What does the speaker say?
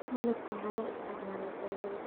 Malabka waxaa loo isticmaalaa dawada.